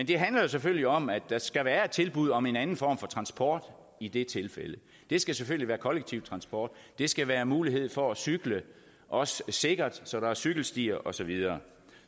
det handler selvfølgelig om at der skal være et tilbud om en anden form for transport i det tilfælde det skal selvfølgelig være kollektiv transport det skal være mulighed for at cykle også sikkert så der cykelstier og så videre